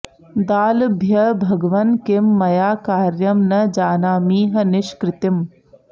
दाल्भ्यः भगवन् किं मया कार्यं न जानामीह निष्कृतिम्